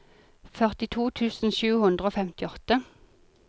førtito tusen sju hundre og femtiåtte